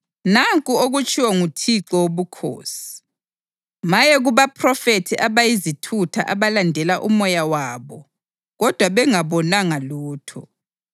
Nanku okutshiwo nguThixo Wobukhosi: Maye kubaphrofethi abayizithutha abalandela umoya wabo kodwa bengabonanga lutho!